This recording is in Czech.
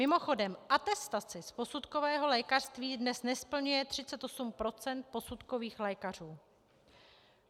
Mimochodem, atestace z posudkového lékařství dnes nesplňuje 38 % posudkových lékařů.